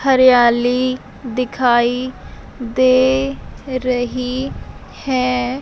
हरियाली दिखाई दे रही है।